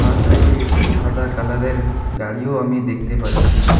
আর side -এ একটি সাদা কালার -এর গাড়িও আমি দেখতে পাচ্ছি।